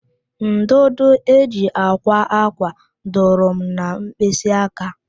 Ndụdụ e ji akwa ákwà dụrụ m na mkpịsị aka